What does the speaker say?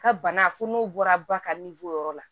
Ka bana fo n'o bɔra ba ka yɔrɔ la